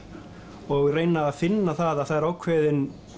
og reyna að finna það að það er ákveðin